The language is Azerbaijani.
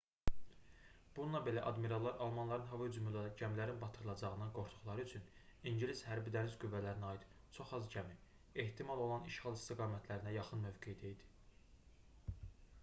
bununla belə admirallar almanların hava hücumu ilə gəmilərin batırılacağından qorxduqları üçün ingilis hərbi-dəniz qüvvələrinə aid çox az gəmi ehtimal olunan işğal istiqamətlərinə yaxın mövqedə idi